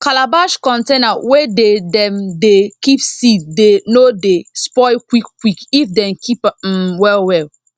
calabash container wey dey dem dey keep seeds dey no dey spoil quick quick if dem keep m well well